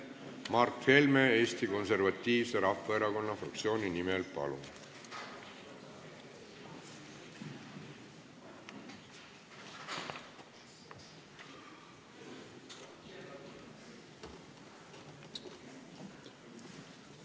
Mart Helme Eesti Konservatiivse Rahvaerakonna fraktsiooni nimel, palun!